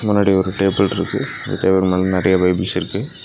முன்னாடி ஒரு டேபிள்ருக்கு அந்த டேபிள் மேல நெறைய பைபிள்ஸ் இருக்கு.